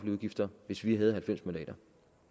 udgifter hvis vi havde halvfems mandater